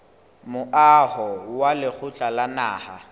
moaho wa lekgotla la naha